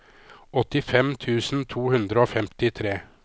åttifem tusen to hundre og femtitre